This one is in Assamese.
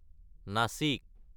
নাসিক